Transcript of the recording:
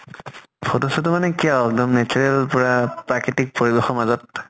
photo চতʼ মানে কি আৰু এক্দম natural পুৰা প্ৰাকৃতিক পৰিবেশৰ মাজত ।